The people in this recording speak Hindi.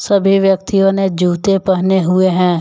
सभी व्यक्तियों ने जूते पहने हुए हैं।